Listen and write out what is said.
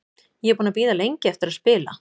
Ég er búinn að bíða lengi eftir að spila.